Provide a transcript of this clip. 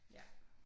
Ja